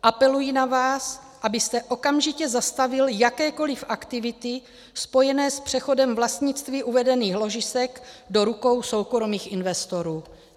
Apeluji na vás, abyste okamžitě zastavil jakékoliv aktivity spojené s přechodem vlastnictví uvedených ložisek do rukou soukromých investorů.